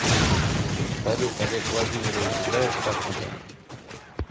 салют олег владимирович играет в шахматы